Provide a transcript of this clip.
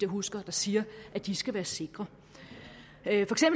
husker der siger at de skal være sikre